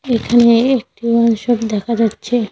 এখানে একটি wine shop দেখা যাচ্ছে।